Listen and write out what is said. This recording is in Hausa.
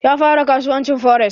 Ya fara kasuwancin fores